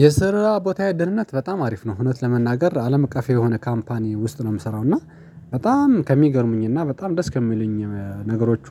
የስራ ቦታዬ ደንነት በጣም አሪፍ ነው እውነት ለመናገር አለም እቀፍ የሆነ ካምፓኒ ውስጥ ነው የምሰራው። እና በጣም ከሚገርሙኝና በጣም ደስ ከሚሉኝ ነገሮቹ